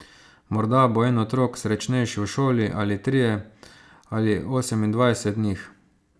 Morda bo en otrok srečnejši v šoli, ali trije, ali osemindvajset njih ...